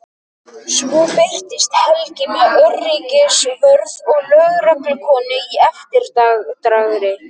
Svo birtist Helgi með öryggisvörð og lögreglukonu í eftirdragi.